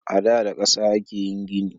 Ada da kasa ake yin gini.